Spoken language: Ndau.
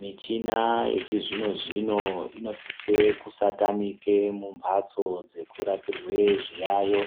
Michina yechizvino-zvino inosise kusatamike mumphatso dzekurapirwe zviyaiyo.